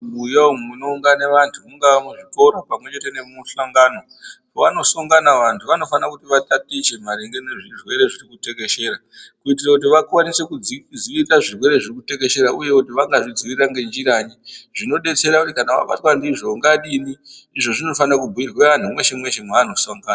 Mubuya umu munoungana vantu mungaa muzvikora pamwechete nemumuhlangano pavanosangana vantu vanofana kuti vatatiche maringe ngezvirwere zvirikutekeshera. Kuitira kuti vakwanise kudzivirire zvirwere zvirikutekeshera uye kuti vanga zvidzivirira ngezhiranyi zvinobetsera kuti kana vabatwa ndizvo ungadini. Izvo zvinofana kubhirwa antu meshe-meshe mavanoshongana.